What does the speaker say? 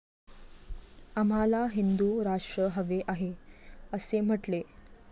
आम्हाला हिंदु राष्ट्र हवे आहे, असे म्हटले.